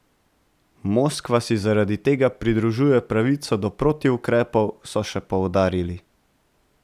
Moskva si zaradi tega pridružuje pravico do protiukrepov, so še poudarili.